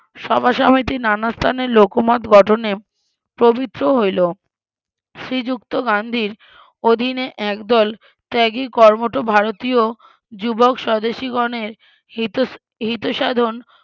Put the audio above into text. সভাসমিতির নানা স্থানে লোকমত গঠনে প্রবৃত্ত হইলো শ্রীযুক্ত গান্ধীর অধিন এ একদল ত্যাগী কর্মঠ ভারতীয় যুবক স্বদেশীগণের হিত ~ হিতসাধন